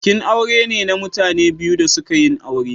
Bikin aure ne na mutane biyu da suka yin aure.